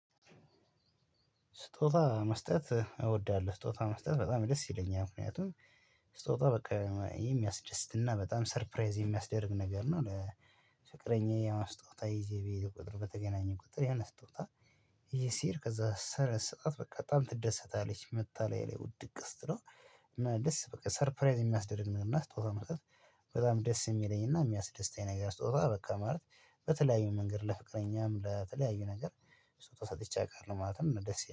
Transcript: ስጦታ መስጠት እወዳለሁ። ስጦታ መስጠት በጣም ደስ ይለኛል ምክንያቱም ስጦታ በቃ የሚያስደስትና በጣም ሰርፕራይዝ የሚያስደርግ ነገር ነው። ለፍቅረኛዬ ስጦታ ይዤ በሄድኩ ቁጥር በተገናኘን ቁጥር የነ ስጦታ ይዠ ሲሄድ ከዛ ስሰጣት በቃ በጣም ትደሰታለች መጥታ ላየ ላይ ውድቅ ስትለው እና ደስ በቃ ሰርፕራይዝ የሚያስደርግ ምናምን። ስጦታ መስጠት በጣም ደስ የሚለኝ እና የሚያስደስተኝ ነገር ስጦታ በቃ ማለት በተለያዩ መንገድ ለፍቅረኛም ለተለያዩ ነገር ስጦታ ሰጥቼ አውቃለሁ ማለትም ደስ